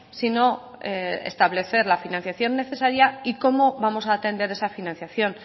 sino establecer la financiación necesaria y cómo vamos a atender esa financiación